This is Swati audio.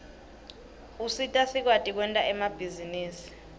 usita sikwati kwenta emabhizinisi